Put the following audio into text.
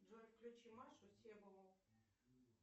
джой включи машу себову